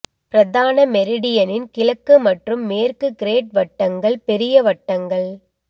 பிரதான மெரிடியனின் கிழக்கு மற்றும் மேற்கு கிரேட் வட்டங்கள் பெரிய வட்டங்கள்